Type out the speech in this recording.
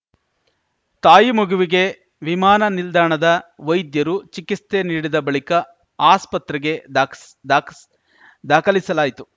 ತಾಯಿ ಮಗುವಿಗೆ ವಿಮಾನ ನಿಲ್ದಾಣದ ವೈದ್ಯರು ಚಿಕಿಸ್ತೆ ನೀಡಿದ ಬಳಿಕ ಆಸ್ಪತ್ರೆಗೆ ಧಾಕಸ್ ಧಾಕಸ್ ದಾಖಲಿಸಲಾಯಿತು